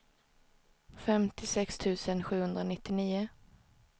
femtiosex tusen sjuhundranittionio